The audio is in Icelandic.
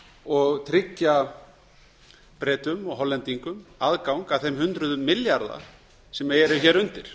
og tryggja bretum og hollendingum aðgang að þeim hundruðum milljarða sem eru hér undir